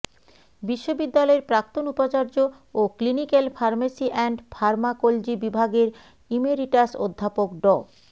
বিশ্ববিদ্যালয়ের প্রাক্তন উপাচার্য ও ক্লিনিক্যাল ফার্মেসি অ্যান্ড ফার্মাকোলজি বিভাগের ইমেরিটাস অধ্যাপক ড